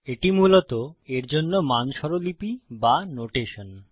এটি মূলত এর জন্য মান স্বরলিপি নোটেশন